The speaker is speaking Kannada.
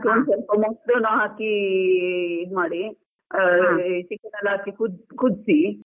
ಸ್ವಲ್ಪ ಮೊಸ್ರುನು ಹಾಕಿ ಇ~ ಇದ್ ಮಾಡಿ ಆ ಈ chicken ಎಲ್ಲ ಹಾಕಿ ಕುದ್~ ಕುದ್ಸಿ.